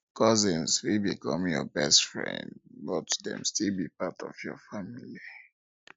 cousins fit become your best friends but best friends but dem still be part of your family